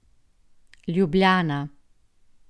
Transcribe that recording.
Ljubljana.